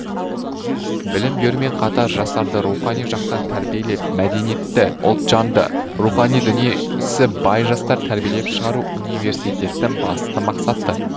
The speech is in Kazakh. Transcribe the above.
білім берумен қатар жастарды рухани жақтан тәрбиелеп мәдениетті ұлтжанды рухани дүниесі бай жастар тәрбиелеп шығару университеттің басты мақсаты